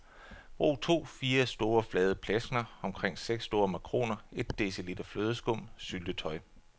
Brug to fire store, flade pleskener, omkring seks store makroner, et dl flødeskum, syltetøj.